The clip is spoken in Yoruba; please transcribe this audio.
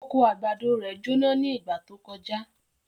Oko àgbàdo rẹ̀ jóná ní ìgbà tó kọjá.